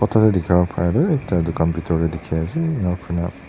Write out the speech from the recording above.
photo tae dikhawo paraetu ekta dukan bitor tae dikhiase ena kurina.